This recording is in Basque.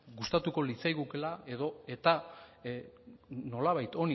gustatuko litzaigukeela edota nolabait